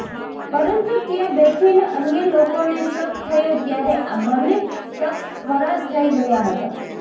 પરંતુ ત્યાં બેઠેલા અન્ય લોકોને શક થયો ત્યારે આ બન્ને શખ્સ ફરાર થઈ ગયા હતા